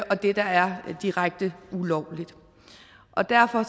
og det der er direkte ulovligt derfor